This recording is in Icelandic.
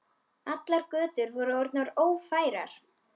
Allar götur voru orðnar ófærar.